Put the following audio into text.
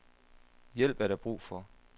Hjælp er der brug for.